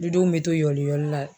Du denw bɛ to yɔliyɔli la.